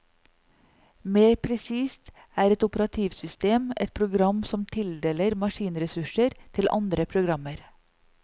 Mer presist er et operativsystem et program som tildeler maskinressurser til andre programmer.